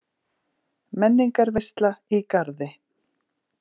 Menningarveisla í Garði